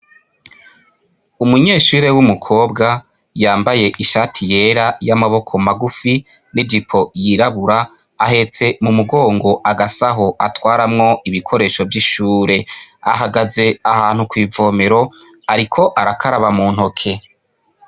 Umunyeshure w'umukobwa, yambaye ishati yera y'amaboko magufi, n'ijipo yirabura, ahetse mumugongo agasaho atwaramwo ibikoresho vy'ishure. Ahagaze ahantu kw'ivomero, ariko arakaraba muntoke.